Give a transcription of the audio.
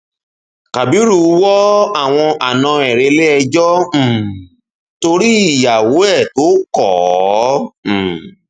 kábirú wo àwọn àna ẹ reléẹjọ um torí ìyàwó ẹ tó kọ ọ um